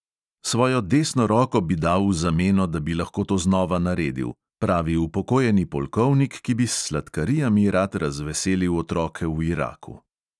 Svojo desno roko bi dal v zameno, da bi lahko to znova naredil, pravi upokojeni polkovnik, ki bi s sladkarijami rad razveselil otroke v iraku.